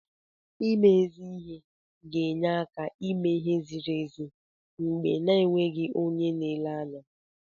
Ime ezi ihe ga-enye áká ime ihe ziri ezi mgbe a na-enweghị onye na-ele anya.